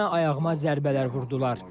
Üzümə, ayağıma zərbələr vurdular.